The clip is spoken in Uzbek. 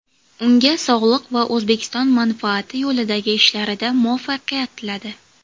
Unga sog‘liq va O‘zbekiston manfaati yo‘lidagi ishlarida muvaffaqiyat tiladi.